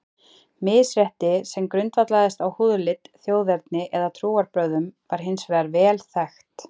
Misrétti sem grundvallaðist á húðlit, þjóðerni eða trúarbrögðum var hins vegar vel þekkt.